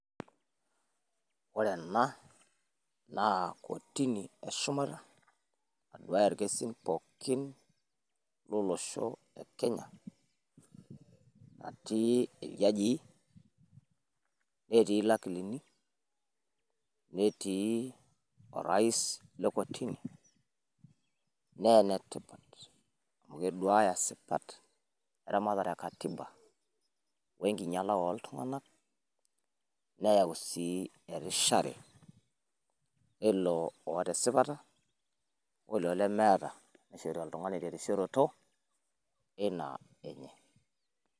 Ore ena na kotini eshumata naduaya irkesim pookin lolosho le Kenya natii iljajii netii ilakilini netii orais le kotini naa enetipat amu keduaya sipat le ramatare e katiba we nkinyala oo iltinganak neyauu sii erishare ilo oota esipata woilo lemeeta neishori oltungani terisioroto ina enyee